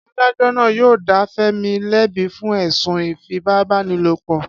Adájó̩ náà yóò dá Fé̩mi lé̩bi fún è̩sùn ìfipábánilòpò̩